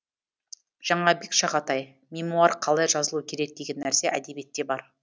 жаңабек шағатай мемуар қалай жазылу керек деген нәрсе әдебиетте бар